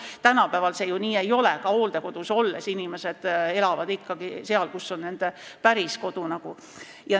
Tänapäeval see ju nii ei ole, ka hooldekodus olles elavad inimesed ikkagi seal, kus on nende päris kodu.